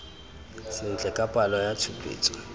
sentle ka palo ya tshupetso